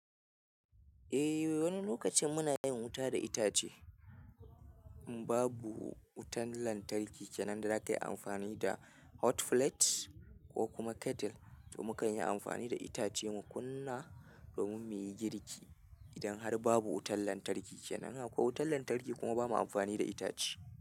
Eh wani lokacin muna yin wuta da itace. Babu wutan lantarki kenan da za ka yi amfani da hot plate ko kuma kettle domin ka yi amfani da itace mu kunna domin mu yi girki idan har babu wutan lantarki kenan. Ko wutan lantarki kuma ba mu amfani da itace.